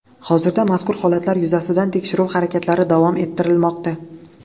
Hozirda mazkur holatlar yuzasidan tekshiruv harakatlari davom ettirilmoqda.